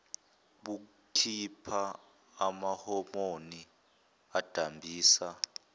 bukhipha amahomoni adambisa